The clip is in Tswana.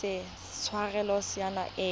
ise a tshwarelwe tshenyo epe